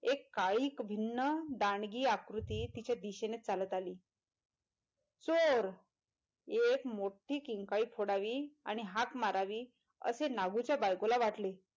एक काळीक भिन्न दांडगी आकृती तिच्या दिशेने चालत आली चोर एक मोठी किंकाळी फोडावी आणि हाक मारावी असे नागूच्या बायकोला वाटले.